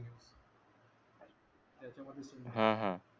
हा हा